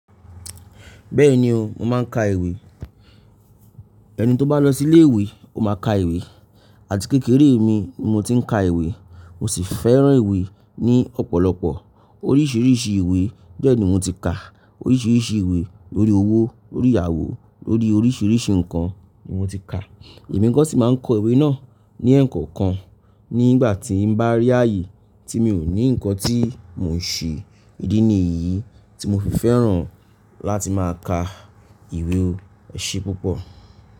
Bẹ́ẹ̀ni o, mo máa ń ka ìwé. Ẹni tó bá lọ sí ilé ìwé ó máa ka ìwé, àti kékeré mi ni mo ti ń ka ìwé, mo sì fẹ́ràn ìwé ní ọ̀pọ̀lọpọ̀. Oríṣiríṣi ìwé bẹ́ẹ̀ ni mo ti kà. Oríṣiríṣi ìwé lórí owó, lórí ìyàwó, lórí oríṣiríṣi nǹkan ni mo ti kà. Èmi nìkan sì máa ń kọ ìwé náà ní ẹ̀ẹ̀kọ̀kan. Nígbà tí mo bá rí ààyè tí mi ò ní nǹkan tí mò ń ṣe, ìdí nìyí tí mo fi fẹ́ràn láti máa ka ìwé ẹ̀ṣe púpọ̀.